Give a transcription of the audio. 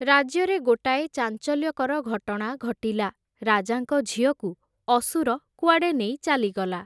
ରାଜ୍ୟରେ ଗୋଟାଏ ଚାଞ୍ଚଲ୍ୟକର ଘଟଣା ଘଟିଲା, ରାଜାଙ୍କ ଝିଅକୁ ଅସୁର କୁଆଡ଼େ ନେଇ ଚାଲିଗଲା ।